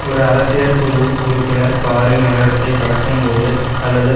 ஒரு அரசியற்குழு உறுப்பினர் காரில் நகரத்தைக் கடக்கும்போது அல்லது